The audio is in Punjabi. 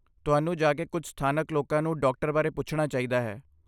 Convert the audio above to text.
ਤੁਹਾਨੂੰ ਜਾ ਕੇ ਕੁਝ ਸਥਾਨਕ ਲੋਕਾਂ ਨੂੰ ਡਾਕਟਰਾਂ ਬਾਰੇ ਪੁੱਛਣਾ ਚਾਹੀਦਾ ਹੈ।